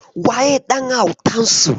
Waye ɗan autansu?